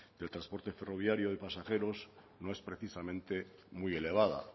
el transporte ferroviario de pasajeros no es precisamente muy elevada